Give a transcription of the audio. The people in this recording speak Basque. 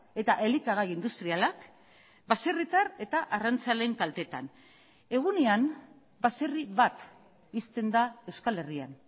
eta elikagai industrialak baserritar eta arrantzaleen kaltetan egunean baserri bat ixten da euskal herrian